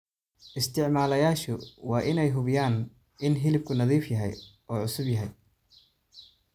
Isticmaalayaashu waa inay hubiyaan in hilibku nadiif yahay oo cusub yahay.